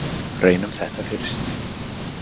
Reynum þetta fyrst.